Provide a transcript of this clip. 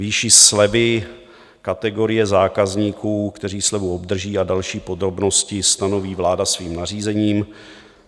Výši slevy, kategorie zákazníků, kteří slevu obdrží, a další podrobnosti stanoví vláda svým nařízením.